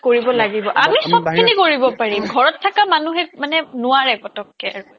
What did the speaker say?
কৰিব লাগিব আমি সবখিনি কৰিব পাৰিম ঘৰত থকা মানুহে মানে নোৱাৰে পতককে আৰু